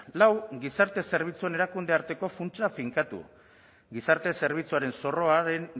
lau gizarte zerbitzuen erakunde arteko funtsa finkatu gizarte zerbitzuaren zorroaren